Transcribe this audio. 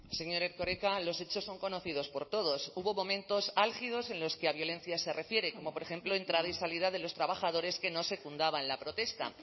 señor erkoreka los hechos son conocidos por todos hubo momentos álgidos en los que a violencia se refiere como por ejemplo entrada y salida de los trabajadores que no secundaban la protesta